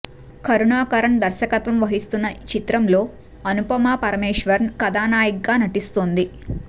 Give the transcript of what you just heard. కరుణాకరన్ దర్శకత్వం వహిస్తున్న ఈ చిత్రంలో అనుపమ పరమేశ్వరన్ కథానాయికగా నటిస్తోంది